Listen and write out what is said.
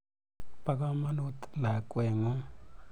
Po kamonut lakwet ng'ung'.